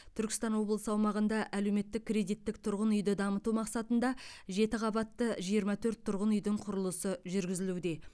түркістан облысы аумағында әлеуметтік кредиттік тұрғын үйді дамыту мақсатында жеті қабатты жиырма төрт тұрғын үйдің құрылысы жүргізілуде